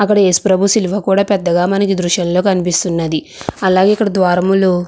అక్కడ ఏసుప్రభు సిలువ కూడా పెద్దగా మనకు ఈ దృశ్యంలో కనిపిస్తుంది అలాగే ఇక్కడ ద్వారంలో --